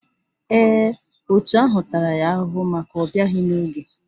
Èè, òtù ahụ tara ya ahụhụ maka ọbịaghi n'oge.